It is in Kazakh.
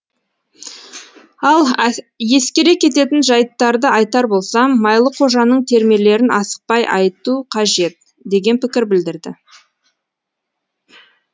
ал ескере кететін жайттарды айтар болсам майлықожаның термелерін асықпай айту қажет деген пікір білдірді